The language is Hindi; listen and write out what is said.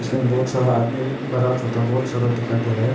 इसमें बहुत सारा आदमी बड़ा छोटा बहुत सारा दिखाई दे रहा है।